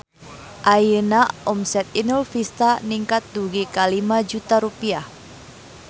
Ayeuna omset Inul Vista ningkat dugi ka 5 juta rupiah